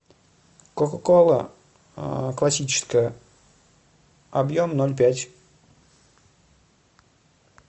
кока кола классическая объем ноль пять